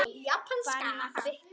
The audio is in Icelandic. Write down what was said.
Farin að fitna.